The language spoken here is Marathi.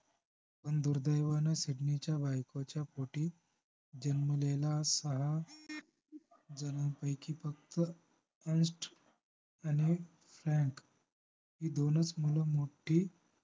पण दुर्दैवानं सिडनीच्या बायकोच्या पोटी जन्मलेला सारा जन्मपैकी फक्त अंश आणि फ्रॅंक ही दोनच मुलं मोठी